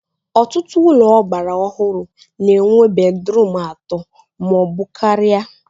Ọtụtụ ụlọ ọgbara ọhụrụ na-enwe bedrum atọ ma ọ bụ karịa